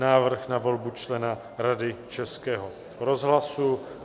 Návrh na volbu člena Rady Českého rozhlasu